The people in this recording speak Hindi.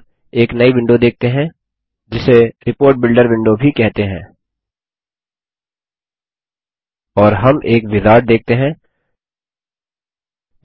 हम अब एक नई विंडो देखते हैं जिसे रिपोर्ट बिल्डर विंडो भी कहते हैं और हम एक विजार्ड देखते हैं